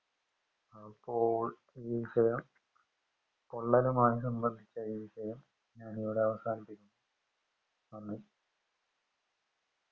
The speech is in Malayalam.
അപ്പോൾ ഈ വിഷയം പൊള്ളലുമായി സംബന്ധിച്ച ഈ വിഷയം ഞാനിവിടെ അവസാനിപ്പിക്കുന്നു നന്ദി